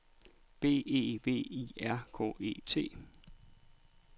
B E V I R K E T